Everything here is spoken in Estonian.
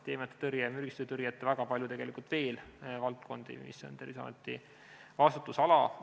Mürgistuste tõrje ja väga palju valdkondi veel on Terviseameti vastutusalas.